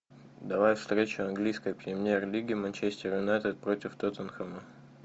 давай встречу английской премьер лиги манчестер юнайтед против тоттенхэма